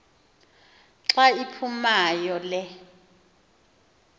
xa iphumayo le